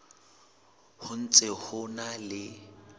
ho ntse ho na le